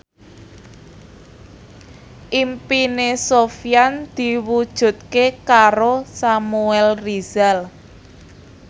impine Sofyan diwujudke karo Samuel Rizal